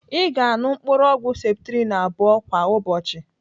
Ị ga-anụ mkpụrụ ọgwụ septrin abụọ kwa ụbọchị.